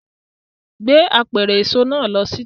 Gbé apẹ̀rẹ̀ èso náà lọ síta!